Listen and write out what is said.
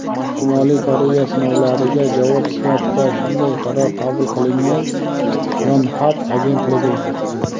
Shimoliy Koreya sinovlariga javob sifatida shunday qaror qabul qilingan – "Yonhap" agentligi.